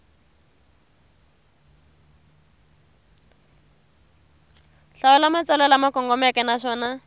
hlawula matsalwa lama kongomeke naswona